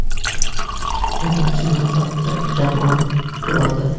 Birinchi navbatda jamoa turadi.